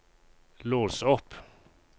lås opp